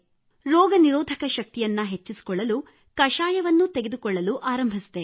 ರೋಗ ನಿರೋಧಕ ಶಕ್ತಿ ಹೆಚ್ಚಲು ಕಾಡಾವನ್ನೂ ತೆಗೆದುಕೊಳ್ಳಲು ಆರಂಭಿಸಿದೆ